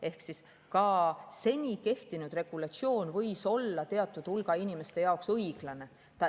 Ehk ka seni kehtinud regulatsioon võis olla teatud hulga inimeste arvates õiglane.